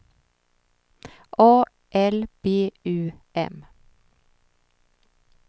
A L B U M